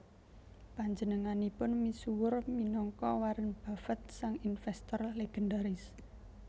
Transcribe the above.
Panjenenganipun misuwur minangka Warren Buffett sang investor legendaris